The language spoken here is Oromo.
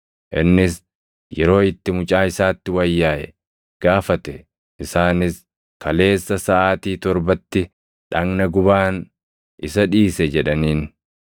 Innis yeroo itti mucaa isaatti wayyaaʼe gaafate; isaanis, “Kaleessa saʼaatii torbatti dhagna gubaan isa dhiise” jedhaniin.